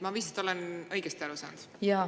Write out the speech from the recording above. Ma vist olen õigesti aru saanud?